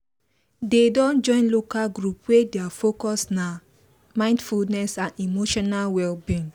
they don join local group wey thier focus nah mindfulness and emotional well-being